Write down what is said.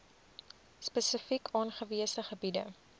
spesifiek aangewese gebiede